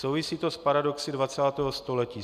Souvisí to s paradoxy 20. století.